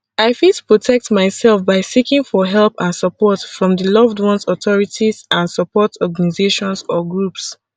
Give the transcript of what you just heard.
i fit protect myself by seeking for help and support from di loved ones authorities and support organizations or groups